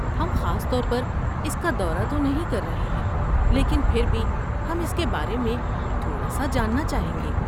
ہم خاص طور پر اس کا دورہ تو نہیں کر رہے ہیں، لیکن پھر بھی ہم اس کے بارے میں تھوڑا سا جاننا چاہیں گے۔